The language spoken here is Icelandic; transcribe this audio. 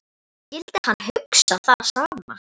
Skyldi hann hugsa það sama?